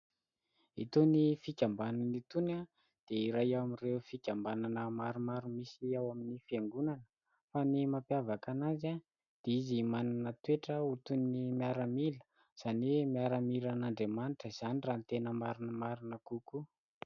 Itony fikambanana itony dia iray amin'ireo fikambanana maromaro misy ao amin'ny fiangonana, fa ny mampiavaka anazy dia izy manana toetra ho toy ny miaramila, izany hoe miaramilan'Andriamanitra izany raha ny marimarina kokoa.